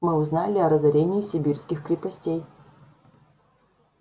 мы узнали о разорении сибирских крепостей